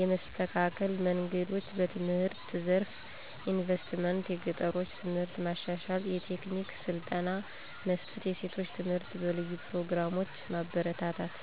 የመስተካከል መንገዶች፦ #በትምህርት ዘርፍ ኢንቨስትመንት - የገጠሮችን ትምህርት ማሻሻል፣ የቴክኒክ ስልጠና መስጠት፣ የሴቶች ትምህርት በልዩ ፕሮግራሞች ማበረታታት።